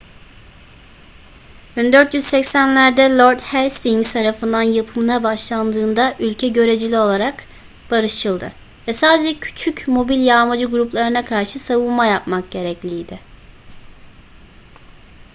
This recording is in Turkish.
1480'lerde lord hastings tarafından yapımına başlandığında ülke göreceli olarak barışçıldı ve sadece küçük mobil yağmacı gruplarına karşı savunma yapmak gerekliydi